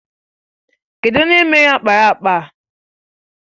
Kedụ onye mere ákpáraàkpà a?